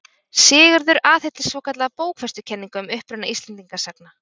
Sigurður aðhylltist svokallaða bókfestukenningu um uppruna Íslendinga sagna.